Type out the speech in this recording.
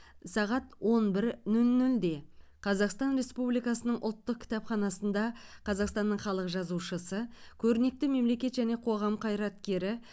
сағат он бір нөл нөлде қазақстан республикасының ұлттық кітапханасында қазақстанның халық жазушысы көрнекті мемлекет және қоғам қайраткері